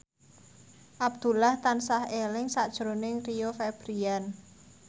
Abdullah tansah eling sakjroning Rio Febrian